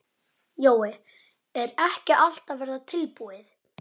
Jói, er ekki allt að verða tilbúið?